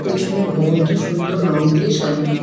পিছনের ভবনটি সুন্দর রং দিয়ে সাজানো।